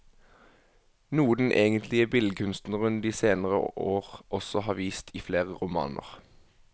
Noe den egentlige billedkunstneren de senere år også har vist i flere romaner.